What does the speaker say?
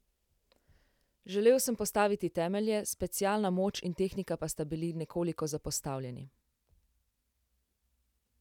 Želel sem postaviti temelje, specialna moč in tehnika pa sta bili nekoliko zapostavljeni.